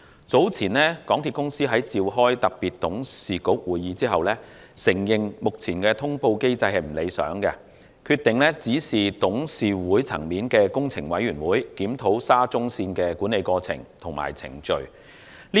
早前港鐵公司在召開特別董事局會議後，承認目前的通報機制不理想，決定指示董事局轄下的工程委員會檢討沙田至中環線的管理過程和程序。